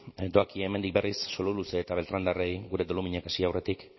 hemendik berriz sololuze eta beltránerrei doluminak hasi aurretik